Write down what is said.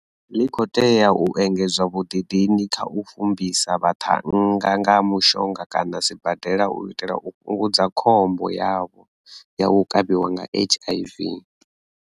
ḽi khou tea u engedza vhuḓidini kha u fumbisa vhaṱhannga nga mushonga kana sibadela u itela u fhungudza khombo yavho ya u kavhiwa nga HIV.